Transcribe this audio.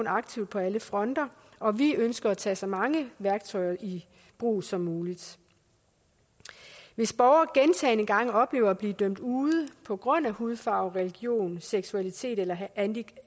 aktivt på alle fronter og vi ønsker at tage så mange værktøjer i brug som muligt hvis borgere gentagne gange oplever at blive dømt ude på grund af hudfarve religion seksualitet eller handicap